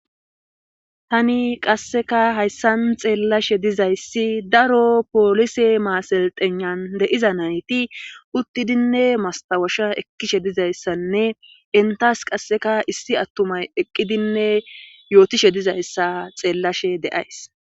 Hani qasseka hayssan xeellashe dizayssi daro polise maaseltenan deiza nayti uttidinne mastawasha ekkishe dizayssanne entas qasseka issi attumay eqqidinne yootishe dizayssa xeellashe de7ays.